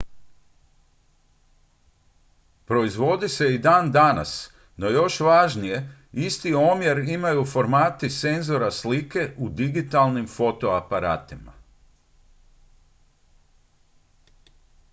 proizvodi se i dan danas no još važnije isti omjer imaju formati senzora slike u digitalnim fotoaparatima